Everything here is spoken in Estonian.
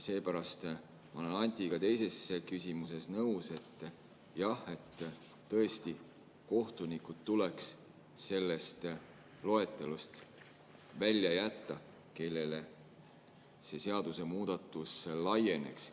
Seepärast ma olen Antiga teises küsimuses nõus: jah, tõesti tuleks kohtunikud välja jätta sellest loetelust, kellele see seadusemuudatus laieneks.